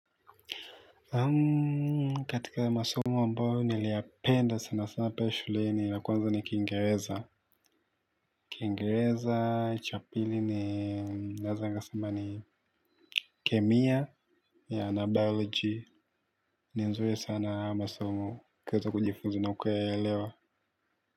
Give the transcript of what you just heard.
Katika masomo ambayo niliyapenda sana sana pale shuleni la kwanza ni kiingereza, kiingereza cha pili ni naeza nikasema ni kemia na biology ni nzuri sana masomo kuweza kujifuzina ukauelewa.